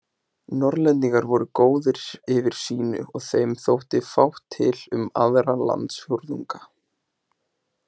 Norðlendingar voru góðir yfir sínu og þeim þótti fátt til um aðra landsfjórðunga.